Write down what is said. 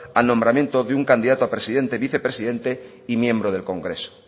al nombramiento de un candidato a presidente vicepresidente y miembro del congreso